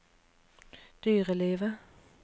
dyrelivet